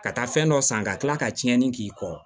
Ka taa fɛn dɔ san ka tila ka tiɲɛni k'i kɔ